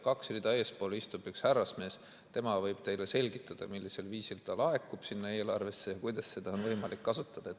Kaks rida eespool istub üks härrasmees, tema võib teile selgitada, millisel viisil see laekub sinna eelarvesse ja kuidas seda on võimalik kasutada.